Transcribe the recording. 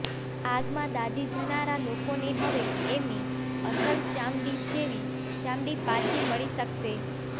આગમાં દાઝી જનારા લોકોને હવે એમની અસલ ચામડી જેવી ચામડી પાછી મળી શકશે